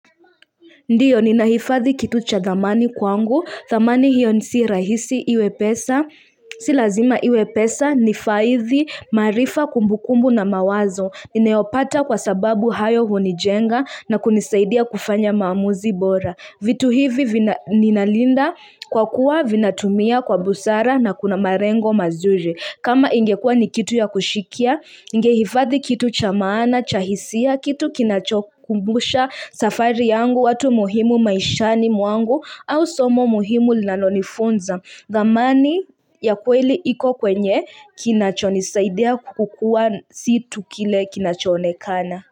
Ndiyo, ninahifadhi kitu cha thamani kwangu, thamani hiyo si rahisi iwe pesa, si lazima iwe pesa, ni faithi marifa kumbukumbu na mawazo, ninayopata kwa sababu hayo hunijenga na kunisaidia kufanya maamuzi bora. Vitu hivi ninalinda kwa kuwa vinatumia kwa busara na kuna malengo mazuri. Kama ingekuwa ni kitu ya kushikia, ningehifathi kitu cha maana, cha hisia kitu kinachokumbusha safari yangu watu muhimu maishani mwangu au somo muhimu linalonifunza. Thamani ya kweli iko kwenye kinachonisaidia kukua si tu kile kinachoonekana.